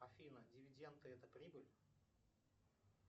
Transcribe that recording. афина дивиденды это прибыль